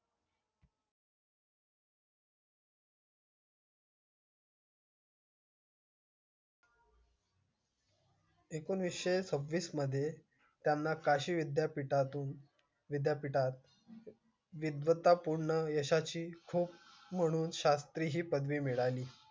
एकोणीस सव्वीस मध्ये त्यांना काशी विद्यापीठा तून विद्यापीठात. अतिशय विद्वत्तापूर्ण यश म्हणून त्यांना शास्त्रज्ञ ही पदवी मिळाली.